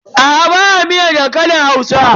Aa ba a miyar dankalin Hausa.